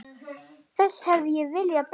Þessu hefði ég viljað breyta.